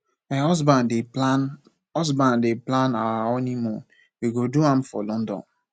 my husband dey plan husband dey plan our honeymoon we go do am for london